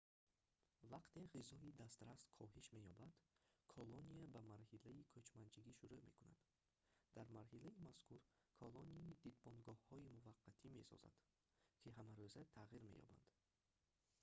вақте ғизои дастрас коҳиш меёбад колония ба марҳилаи кӯчманчигӣ шурӯъ мекунад дар марҳилаи мазкур колония дидбонгоҳҳои муваққатӣ месозад ки ҳамарӯза тағйир меёбанд